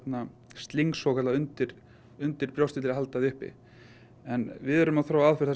nylonsling svokallað undir undir brjóstið til að halda því uppi en við erum að þróa aðferð þar